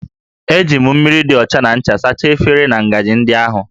E ji mmiri dị ọcha na ncha sachaa efere na ngaji ndị ahụ